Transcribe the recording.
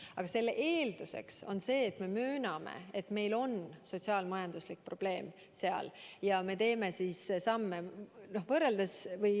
Aga selle eeldus on see, et me mööname, et meil on seal sotsiaal-majanduslik probleem, ja me teeme samme.